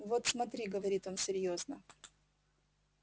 вот смотри говорит он серьёзно